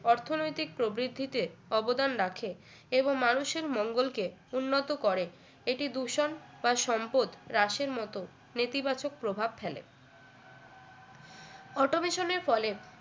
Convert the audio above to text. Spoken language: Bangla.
অর্থনৈতিক প্রবৃদ্ধিতে অবদান রাখে এবং মানুষের মঙ্গলকে উন্নত করে এটি দূষণ বা সম্পদ রাশের মত নেতিবাচক প্রভাব ফেলে automation এর ফলে